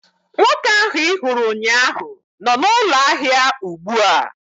Nwoke ahụ ị hụrụ ụnyaahụ nọ n'ụlọ ahịa ugbu a